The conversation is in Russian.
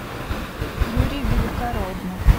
юрий великороднов